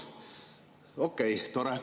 Okei, tore.